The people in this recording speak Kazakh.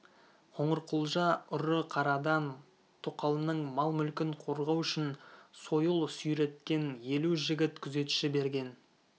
қоңырқұлжа ұры-қарыдан тоқалының мал-мүлкін қорғау үшін сойыл сүйреткен елу жігіт күзетші берген